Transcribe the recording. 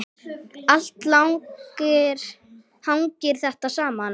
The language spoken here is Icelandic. Allt hangir þetta saman.